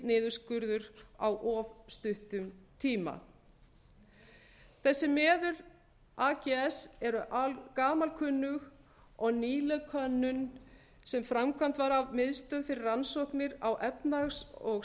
niðurskurður á of stuttum tíma þessi meðul ags eru gamalkunnug og nýleg könnun sem framkvæmd var af miðstöð fyrir rannsóknir á efnahags og